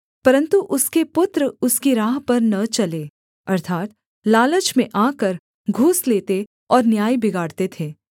परन्तु उसके पुत्र उसकी राह पर न चले अर्थात् लालच में आकर घूस लेते और न्याय बिगाड़ते थे